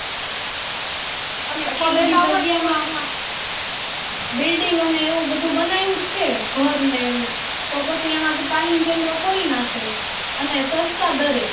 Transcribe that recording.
Building ને એવું બધું બનાયુ જ છે ઘર ને એવું તો પછી એમાં તાલીમ કેન્દ્ર ખોલી નાખે અને સસ્તા દરે.